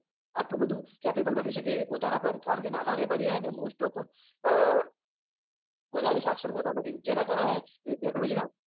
આટલું બધું capabale three બની શકે પોતાના પર કારણ કે નાના વેપારી હોય ને mostof અ વધારે સાક્ષર હોતા નથી જેના કારણે technology ન